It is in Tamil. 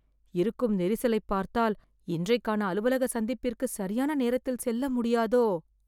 இருக்கும் நெரிசலைப் பார்த்தால் இன்றைக்கான அலுவலக சந்திப்பிற்கு, சரியான நேரத்தில் செல்ல முடியாதோ..